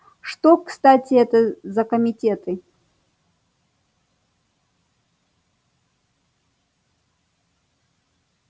а что кстати это за комитеты